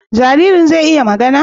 Jaririn zai iya magana?